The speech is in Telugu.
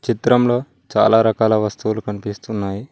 చిత్రంలో చాలా రకాల వస్తువులు కనిపిస్తున్నాయి.